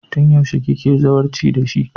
Tun yaushe kike zawarci da shi?